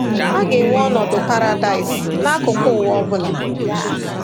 A ga-enwe ọnọdụ paradaịs n’akụkụ ụwa ọ ọ bụla.